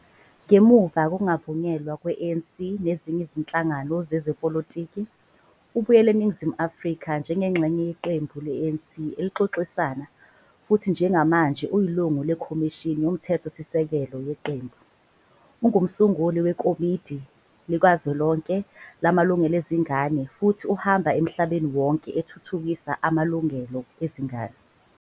Ngemuva kokungavunyelwa kwe-ANC nezinye izinhlangano zezepolitiki, ubuyela eNingizimu Afrika njengengxenye yeqembu le-ANC elixoxisana futhi njengamanje uyilungu leKhomishini Yomthethosisekelo yeqembu. Ungumsunguli weKomidi Likazwelonke Lamalungelo Ezingane futhi uhambe emhlabeni wonke ethuthukisa amalungelo ezingane.